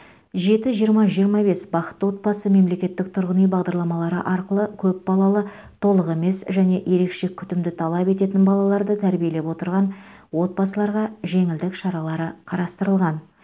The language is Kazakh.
жеті жиырма жиырма бес бақытты отбасы мемлекеттік тұрғын үй бағдарламалары арқылы көпбалалы толық емес және ерекше күтімді талап ететін балаларды тәрбиелеп отырған отбасыларға жеңілдік шаралары қарастырылған